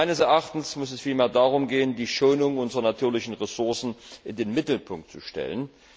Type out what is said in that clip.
Meines Erachtens muss es vielmehr darum gehen, die Schonung unserer natürlichen Ressourcen in den Mittelpunkt zu stellen.